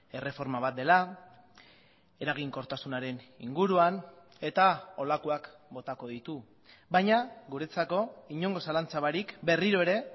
erreforma bat dela eraginkortasunaren inguruan eta holakoak botako ditu baina guretzako inongo zalantza barik berriro ere